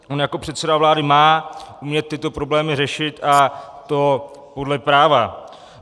On jako předseda vlády má umět tyto problémy řešit, a to podle práva.